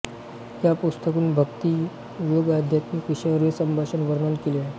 या पुस्तकात भक्ती योगआध्यात्मिक विषयांवरील संभाषण वर्णन केले आहे